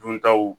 Duntaw